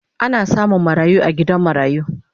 Ana samun marayu a gidan marayu